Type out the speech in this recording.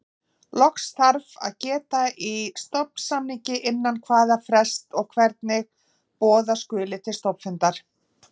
Loks þarf að geta í stofnsamningi innan hvaða frests og hvernig boða skuli til stofnfundar.